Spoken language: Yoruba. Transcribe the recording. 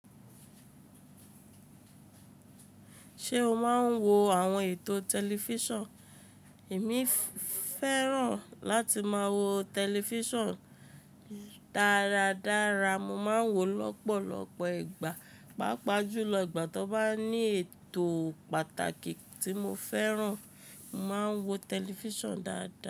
Ṣé o máa ń wo àwọn ètò tẹlifíṣàn? Èmi fẹ́ràn láti máa wo tẹlifíṣàn dáradára. Mo máa ń wo lọ́pọ̀lọ́pọ̀ ìgbà, pàápàá jùlọ ìgbà tí ó bá ní ètò pàtàkì tí mo fẹ́ràn, mo máa ń wo tẹlifíṣàn dáadáa.